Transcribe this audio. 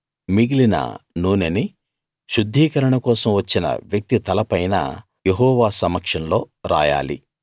మిగిలిన నూనెని శుద్ధీకరణ కోసం వచ్చిన వ్యక్తి తలపైన యెహోవా సమక్షంలో రాయాలి